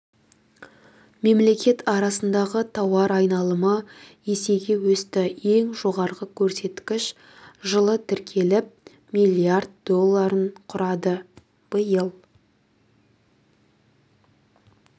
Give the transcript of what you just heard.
мемлекет арасындағы тауар айналымы есеге өсті ең жоғарғы көрсеткіш жылы тіркеліп миллиард долларын құрады биыл